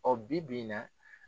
O bi-bi in na